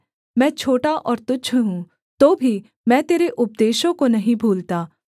मैं छोटा और तुच्छ हूँ तो भी मैं तेरे उपदेशों को नहीं भूलता